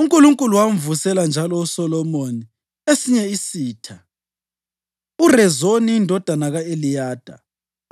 UNkulunkulu wamvusela njalo uSolomoni esinye isitha, uRezoni indodana ka-Eliyada